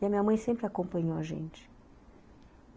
E a minha mãe sempre acompanhou a gente.